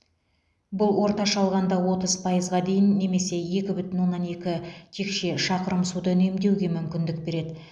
бұл орташа алғанда отыз пайызға дейін немесе екі бүтін оннан екі текше шақырым суды үнемдеуге мүмкіндік береді